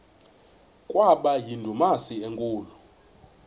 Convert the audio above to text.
kwaba yindumasi enkulu